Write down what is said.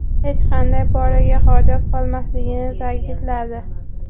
hech qanday poraga hojat qolmasligini ta’kidladi.